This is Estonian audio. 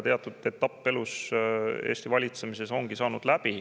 Teatud etapp Eesti valitsemises on läbi saanud.